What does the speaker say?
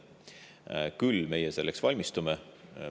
Me küll selleks valmistume.